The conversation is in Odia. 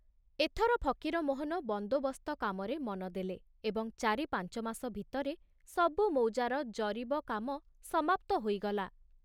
ଏଥର ଫକୀରମୋହନ ବନ୍ଦୋବସ୍ତ କାମରେ ମନ ଦେଲେ ଏବଂ ଚାରି ପାଞ୍ଚମାସ ଭିତରେ ସବୁ ମୌଜାର ଜରିବ କାମ ସମାପ୍ତ ହୋଇଗଲା।